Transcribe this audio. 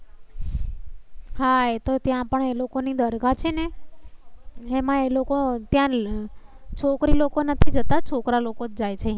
હા, એતો ત્યાં પણ એ લોકો ની દરગાહ છે ને એમાં એ લોકો ત્યાં છોકરી લોકો નથી જતા. છોકરા લોકો જાય છે.